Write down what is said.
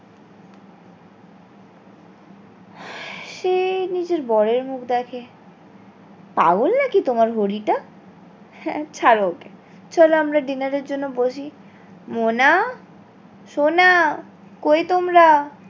সে নিজের বরের মুখ দেখে পাগল নাকি তোমার হরিটা হ্যাঁ ছাড়ো ওকে চিনলো আমরা dinner এর জন্য বসি মোনা সোনা কি তোমরা?